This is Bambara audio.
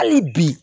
Hali bi